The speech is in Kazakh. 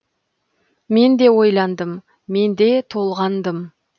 мен де ойландым мен де толғандым